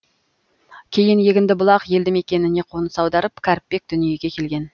кейін егіндібұлақ елді мекеніне қоныс аударып кәріпбек дүниеге келген